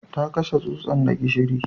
Ta kashe tsutsan da gishiri